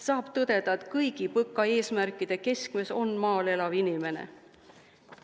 Saab tõdeda, et kõigi PõKa eesmärkide keskmes on maal elav inimene.